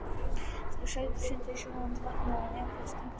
Þeir eru sagðir synda í sjóðandi vatninu og jafnvel stinga sér á kaf.